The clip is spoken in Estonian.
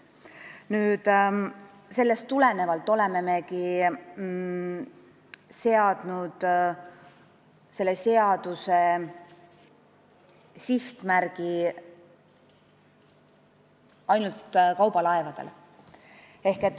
Sellest tulenevalt olemegi seadnud selle seaduse sihtmärgiks ainult kaubalaevad.